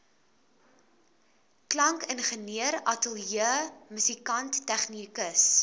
klankingenieur ateljeemusikant tegnikus